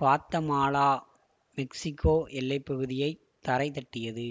Guatemala Mexico எல்லைப்பகுதியைத் தரை தட்டியது